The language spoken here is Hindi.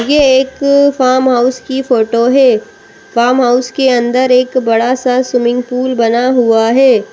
ये एक फार्म हाउस की फोटो है फार्म हाउस के अंदर एक बड़ा सा स्विमिंग पूल बना हुआ है।